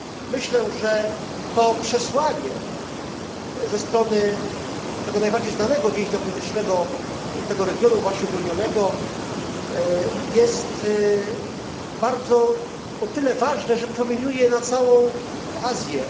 Myślę, że to przesłanie ze strony tego najbardziej znanego więźnia politycznego tego regionu, właśnie uwolnionego, jest o tyle ważne, że promieniuje na całą Azję.